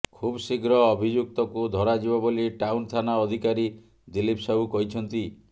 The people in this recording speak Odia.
ଖୁବ୍ଶୀଘ୍ର ଅଭିଯୁକ୍ତକୁ ଧରାଯିବ ବୋଲି ଟାଉନ୍ ଥାନା ଅଧିକାରୀ ଦିଲ୍ଲୀପ ସାହୁ କହିଛନ୍ତି